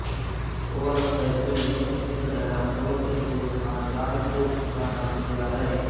اورتھیتومیمس نے ڈیناسور کے پورے خاندان کو اس کا نام دیا ہے